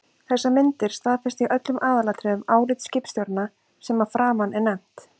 Þessar myndir staðfesta í öllum aðalatriðum álit skipstjóranna sem að framan er nefnt.